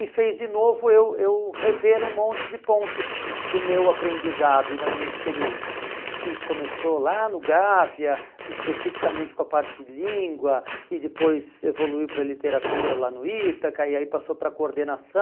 e fez de novo eu eu rever um monte de pontos do meu aprendizado e da minha experiência, que começou lá no Gávea, especificamente com a parte de língua, e depois evoluiu para a literatura lá no Ítaca, e aí passou para a